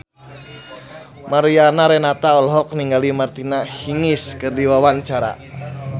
Mariana Renata olohok ningali Martina Hingis keur diwawancara